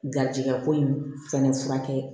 Garisigɛ ko in fɛnɛ furakɛ